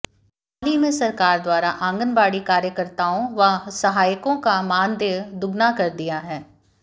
हाल ही में सरकार द्वारा आंगनबाड़ी कार्यकर्ताओं व सहायिकाओं का मानदेय दुगना कर दिया है